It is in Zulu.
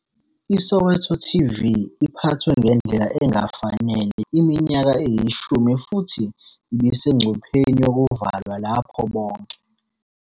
ISoweto TV iphathwe ngendlela engafanele iminyaka eyishumi futhi ibisengcupheni yokuvalwa lapho bonke